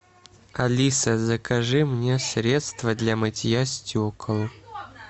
алиса закажи мне средство для мытья стекол